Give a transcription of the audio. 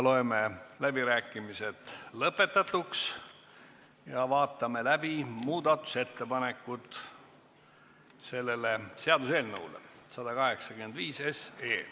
Loeme läbirääkimised lõpetatuks ja vaatame läbi muudatusettepanekud seaduseelnõu nr 185 kohta.